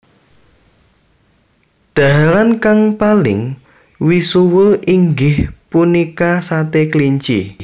Dhaharan kang paling misuwur inggih punika sate kelinci